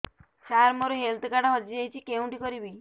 ସାର ମୋର health card ହଜି ଯାଇଛି କେଉଁଠି କରିବି